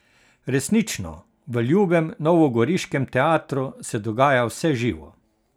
Resnično, v ljubem novogoriškem teatru se dogaja vse živo.